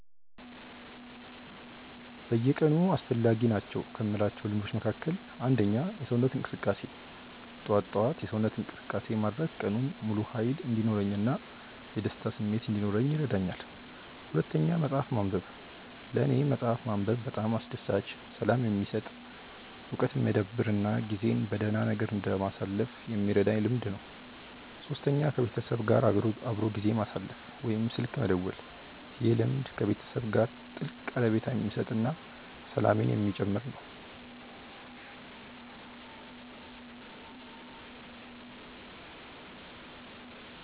በየቀኑ አስፈላጊ ናቸው ከምላቸው ልምዶች መካከል፦ 1. የሰውነት እንቅስቃሴ፦ ጠዋት ጠዋት የሰውነት እንቅስቃሴ ማድረግ ቀኑን ሙሉ ሃይል እንዲኖረኝ እና የደስታ ስሜት እንዲኖረኝ ይረዳኛል። 2. መፅሐፍ ማንበብ፦ ለኔ መፅሐፍ ማንበብ በጣም አስደሳች፣ ሰላም የሚሰጥ፣ እውቀት የሚያዳብር እና ጊዜን በደህና ነገር ለማሳለፍ የሚረዳኝ ልምድ ነው። 3. ከቤተሰብ ጋር አብሮ ጊዜ ማሳለፍ ወይም ስልክ መደወል፦ ይህ ልምድ ከቤተሰብ ጋር ትልቅ ቀረቤታ የሚሰጥ እና ሰላምን የሚጨምር ነው